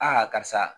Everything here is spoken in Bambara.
karisa